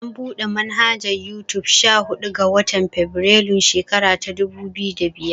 An buɗe manhajar Yutub sha huɗu ga. watan febirairun shekara ta dubu biyu da biyar.